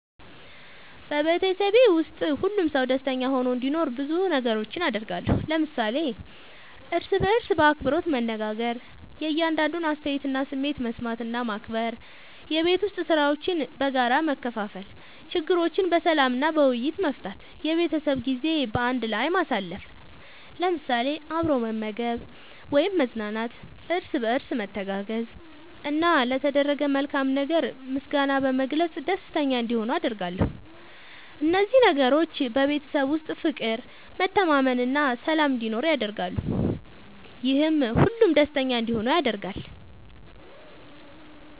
በቤተሰቤ ውስጥ ሁሉም ሰው ደስተኛ ሆኖ እንዲኖር ብዙ ነገሮችን አደርጋለሁ።። ለምሳሌ፦ እርስ በርስ በአክብሮት መነጋገር። የእያንዳንዱን አስተያየትና ስሜት መስማት እና ማክበር፣ የቤት ዉስጥ ሥራዎችን በጋራ መከፋፈል፣ ችግሮችን በሰላም እና በውይይት መፍታት፣ የቤተሰብ ጊዜ በአንድ ላይ ማሳለፍ ለምሳሌ፦ አብሮ መመገብ ወይም መዝናናት፣ እርስ በርስ መተጋገዝ፣ እና ለተደረገ መልካም ነገር ምስጋና በመግለጽ ደስተኛ እንዲሆኑ አደርጋለሁ። እነዚህ ነገሮች በቤተሰብ ውስጥ ፍቅር፣ መተማመን እና ሰላም እንዲኖር ያደርጋሉ፤ ይህም ሁሉም ደስተኛ እንዲሆኑ ያደርጋል።